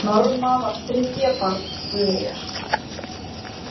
Norma var þriðja barn Guðrýðar.